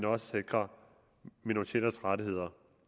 også sikrer minoriteters rettigheder